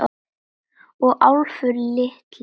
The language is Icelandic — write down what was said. Og Álfur litli.